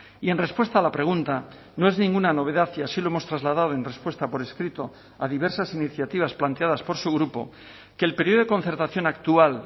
y en respuesta a la pregunta no es ninguna novedad y así lo hemos trasladado en respuesta por escrito a diversas iniciativas planteadas por su grupo que el periodo de concertación actual